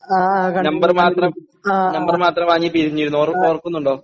Number മാത്രം number മാത്രം വാങ്ങി പിരിഞ്ഞിരുന്നു ഓർ ഓർക്കുന്നുണ്ടോ?